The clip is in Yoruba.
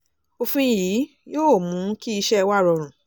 òfin yìí yóò mú kí iṣẹ́ wa rọrùn